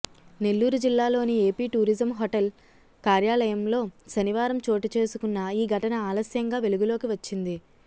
నెల్లూరు జిల్లా లోని AP tourism hotel కార్యాలయంలో శనివారం చోటుచేసుకున్న ఈ ఘటన ఆలస్యంగా వెలుగులోకి వచ్చింది